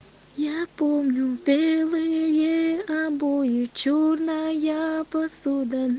я помню белые обои чёрная посуда